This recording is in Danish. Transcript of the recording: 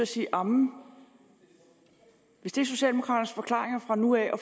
sige amen hvis det er socialdemokraternes forklaringer fra nu af og